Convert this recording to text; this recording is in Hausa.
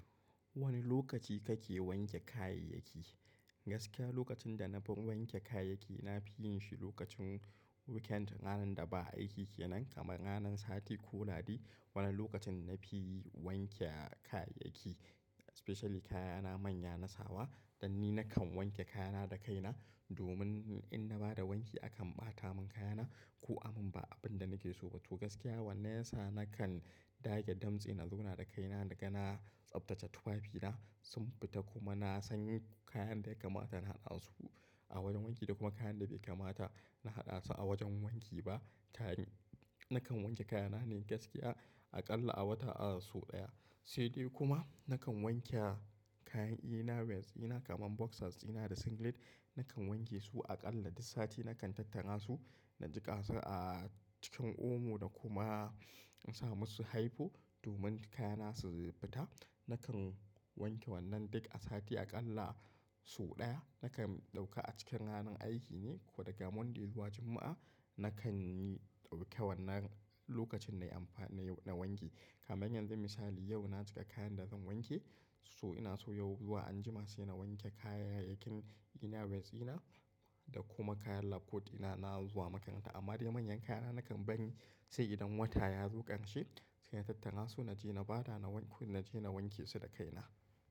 Wani lokaci kake wanke kayayyaki? Gaskiya lokacin da na fi wanke kayayyaki na fi yin shi lokacin weekend ranar da ba aiki ke nan, kamar ranar sati ko Lahadi. Wani lokacin na fi wanke kayayyaki especially kayana manya na sawa, dan ni na kan wanke kayana da kaina domin in na ba da wanki akan ɓata mun kayana ko amun ba abin da nake so. To gaskiya wannan yasa na kan dage damtse na zauna da kaina naga na tsaftace tufafina sun fita kuma na san kayan da ya kamata na haɗa su a wajen wanki da kuma kayan da bai kamata na haɗa su a wajen wanki ba. Kayan na kan wanke kayana ne gaskiya aƙalla a wata sau ɗaya. Sai dai kuma na kan wanke kayan inner wears ina kamar boxers ina da singlet na kan wanke su aƙalla duk sati na kan tattara su, na jiƙa su a cikin omo da kuma in sa musu hypo domin kayana su fita. Na kan wanke wannan duk a sati aƙalla sau ɗaya. Na kan ɗauka a cikin ranar aiki ne ko daga Monday zuwa Juma'a na kan yi dauke wan nan lokacin nayi amfa nayi na wanke. Kaman yanzu misali yau na jiƙa kayan da zan wanke so ina so yau zuwa anjima sai na wanke kayayyakin inner wears ina da kuma kayan labcoat ina na zuwa makaranta. Amma dai manyan kayana na kan bari sai idan wata yazo ƙarshe sai na tattara su naje na bada na naje na wanke su da kaina.